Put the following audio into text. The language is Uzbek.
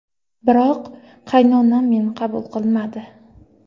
Biroq qaynonam meni qabul qilmadi.